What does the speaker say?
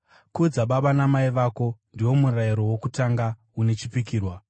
“Kudza baba namai vako,” ndiwo murayiro wokutanga une chipikirwa,